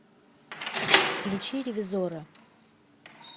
включи ревизора